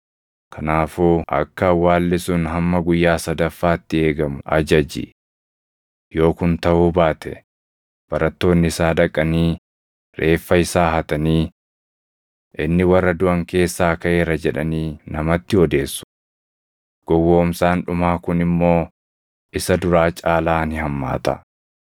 Kanaafuu akka awwaalli sun hamma guyyaa sadaffaatti eegamu ajaji. Yoo kun taʼuu baate barattoonni isaa dhaqanii reeffa isaa hatanii, ‘Inni warra duʼan keessaa kaʼeera’ jedhanii namatti odeessu. Gowwoomsaan dhumaa kun immoo isa duraa caalaa ni hammaata.”